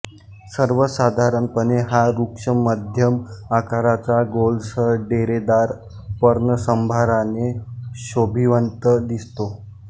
सर्वसाधारणपणे हा वृक्ष मध्यम आकाराचा गोलसर डेरेदार पर्णसंभाराने शोभिवंत दिसतो